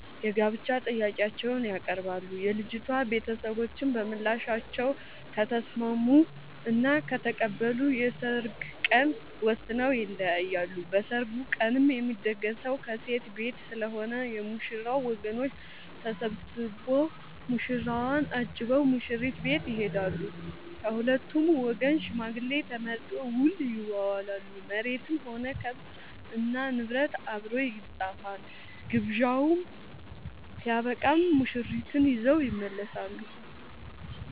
የጋብቻ ጥያቄአቸውን ያቀርባሉ። የልጂቷ ቤተሰቦችም በምላሻቸው ከተስምስሙ እና ከተቀበሉ የሰርግ ቀን ወስነው ይለያያሉ። በሰርጉ ቀንም የሚደገሰው ከሴት ቤት ስለሆነ የ ሙሽራው ወገኖች ተሰብስቧ ሙሽራውን አጅበው ሙሽሪት ቤት ይሄዳሉ። ከሁለቱም ወገን ሽማግሌ ተመርጦ ውል ይዋዋላሉ መሬትም ሆነ ከብት እና ንብረት አብሮ ይፃፋል። ግብዣው ስበቃም ሙሽርትን ይዘው ይመለሳሉ።